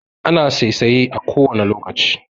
Ana saisaye a kowane lokaci